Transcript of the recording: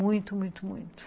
Muito, muito, muito.